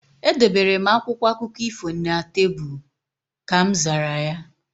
Edobere m akwụkwọ akụkọ ifo na tebụl. Ka mzara ya